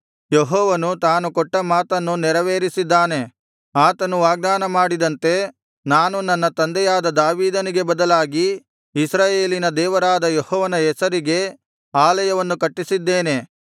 ಯೆಹೋವನು ತಾನು ಕೊಟ್ಟ ಮಾತನ್ನು ನೆರವೇರಿಸಿದ್ದಾನೆ ಆತನು ವಾಗ್ದಾನ ಮಾಡಿದಂತೆ ನಾನು ನನ್ನ ತಂದೆಯಾದ ದಾವೀದನಿಗೆ ಬದಲಾಗಿ ಇಸ್ರಾಯೇಲಿನ ಸಿಂಹಾಸನದ ಮೇಲೆ ಅರಸನಾಗಿ ಕುಳಿತುಕೊಂಡು ಇಸ್ರಾಯೇಲಿನ ದೇವರಾದ ಯೆಹೋವನ ಹೆಸರಿಗೆ ಆಲಯವನ್ನು ಕಟ್ಟಿಸಿದ್ದೇನೆ